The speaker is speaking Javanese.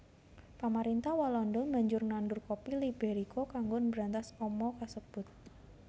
Pamarintah Walanda banjur nandur kopi Liberika kanggo mbrantas ama kasebut